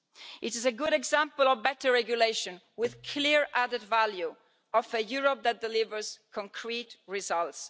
It is a good example of better regulation, with the clear added value of a Europe that delivers concrete results.